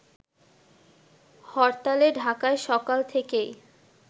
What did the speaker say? হরতালে ঢাকায় সকাল থেকেই